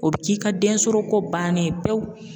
O bɛ k'i ka densɔrɔko bannen ye pewu